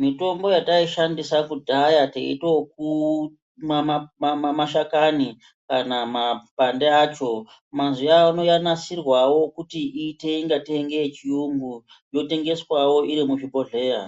mitombo yataishandisa kudhaya teite kuu kumwa mashakani kana mapande acho mazuwaano yanasirwawo kuita ngatei ngeye chiyungu yotengeswawo iri muchibhohleya.